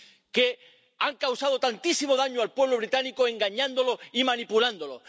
que han causado tantísimo daño al pueblo británico engañándolo y manipulándolo.